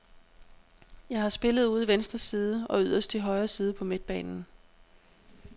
Jeg har spillet ude i venstre side og yderst i højre side på midtbanen.